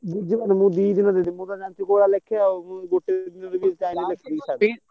ବୁଧ ବାରେ ମୁଁ ଦି ଦିନରେ ଦେଇ ଦେବି ।